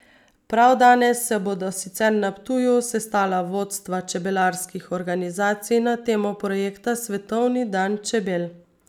Prav danes se bodo sicer na Ptuju sestala vodstva čebelarskih organizacij na temo projekta Svetovni dan čebel.